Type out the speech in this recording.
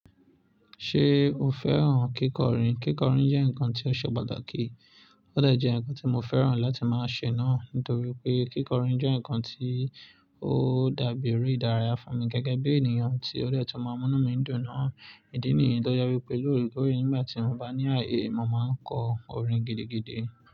Ṣé o fẹ́ràn kíkọrin? Kíkọrin jẹ́ nǹkan tí ó ṣe pàtàkì, ó dà jẹ́ nǹkan tí mo fẹ́ràn láti máa ṣe náà nítorí pé kíkọrin jẹ́ nǹkan tí ó dàbí eré ìdárayá fún mi gẹ́gẹ́ bí ènìyàn tí ó de tún máa múnú mi dùn náà. Ìdí nìyí tó yẹ pé lórekóòre nígbà tí mo bá ní ààyè, mo máa kọ orin gidigidi.